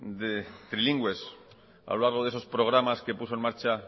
de trilingües a lo largo de esos programas que puso en marcha